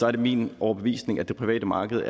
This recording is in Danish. er min overbevisning at det private marked